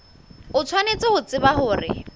o tshwanetse ho tseba hore